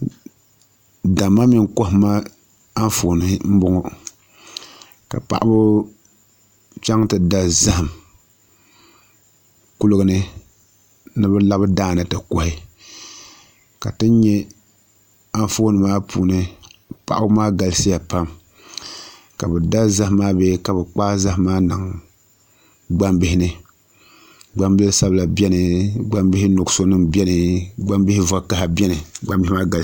Damma mini kohamma Anfooni n bɔŋɔ ka paɣaba chɛŋ ti da zaham kuligi ni ni bi labi daani ti kohi ka ti nyɛ Anfooni maa puuni paɣaba maa galisiya pam ka bi da zaham maa bee ka bi kpaai zaham maa niŋ gbambihi ni gbambihi zabila biɛni gbambihi nuɣso nim biɛni gbambihi vakaɣa biɛni gbambihi maa galisiya pam